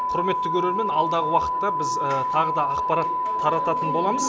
құрметті көрермен алдағы уақытта біз тағы да ақпарат тарататын боламыз